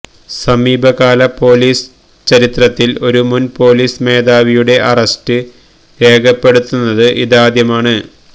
സമീപകാല പോലീസ് ചരിത്രത്തിൽ ഒരു മുൻ പോലീസ് മേധാവിയുടെ അറസ്റ്റ് രേഖപ്പെടുത്തുന്നത് ഇതാദ്യമാണ്